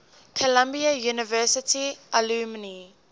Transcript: columbia university alumni